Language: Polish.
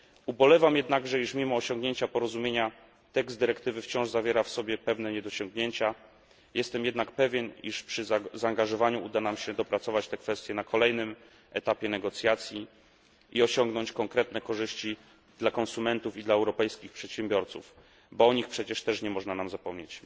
Ubolewam jednakże, iż mimo osiągnięcia porozumienia tekst dyrektywy wciąż zawiera w sobie pewne niedociągnięcia, jestem jednak pewien, iż przy zaangażowaniu uda nam się dopracować te kwestie na kolejnym etapie negocjacji i osiągnąć konkretne korzyści dla konsumentów i dla europejskich przedsiębiorców, bo o nich przecież też nie można nam zapomnieć.